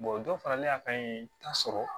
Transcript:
dɔ faralen a kan yen i t'a sɔrɔ